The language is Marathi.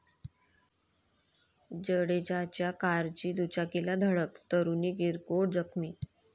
जडेजाच्या कारची दुचाकीला धडक, तरुणी किरकोळ जखमी